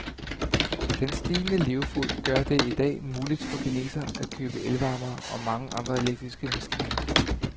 Den stigende levefod gør det i dag muligt for kinesere at købe elvarmere og mange andre elektriske maskiner.